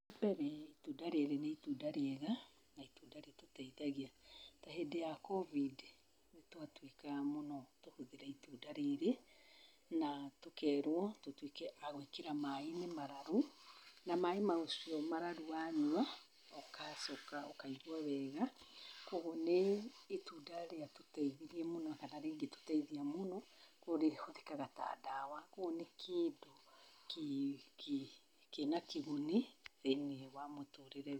Wambere, itunda rĩrĩ nĩ itunda rĩega na itunda rĩtũteithagia. Tahĩndĩ ya Covid, nĩtwatuĩkaga mũno tũhũthĩre itunda rĩrĩ na tũkerwo tũtuĩke agũĩkĩra maĩinĩ mararu , na maĩ macio mararu wanyua agacoka ũkaigua wega. Kuogwo nĩitunda rĩatũteithirie mũno kana rĩngĩtũteithia mũno kuogwo rĩhũthĩkaga ta ndawa. Kuogwo nĩkĩndũ kĩnakĩguni thĩiniĩ wa mũtũrĩre witũ.